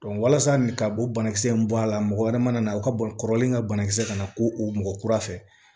walasa nin ka o banakisɛ in bɔ a la mɔgɔ wɛrɛ mana na o ka bɔ kɔrɔlen ka bana kisɛ kana k'o o mɔgɔ kura fɛ